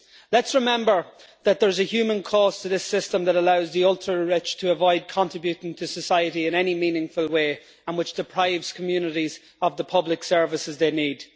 Let us remember that there is a human cost to this system that allows the ultra rich to avoid contributing to society in any meaningful way and which deprives communities of the public services they need.